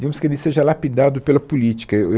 digamos que ele seja lapidado pela política. Eu eu